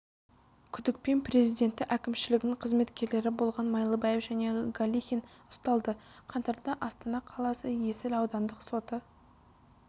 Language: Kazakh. күдікпен президенті әкімшілігінің қызметкерлері болған майлыбаев және галихин ұсталды қаңтарда астана қаласы есіл аудандық соты